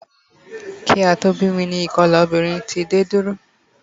Kí a tó bí mi ni ìkolà obìnrin ti dé dúró